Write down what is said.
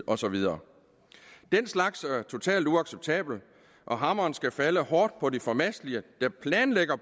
og så videre den slags er totalt uacceptabelt og hammeren skal falde hårdt for de formastelige der planlægger